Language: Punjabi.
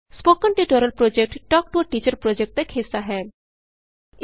spoken tutorial project talk to a teacher project ਦਾ ਇਕ ਹਿੱਸਾ ਹੈ